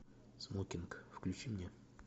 смокинг включи мне